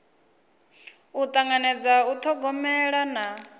u tanganedza u thogomela na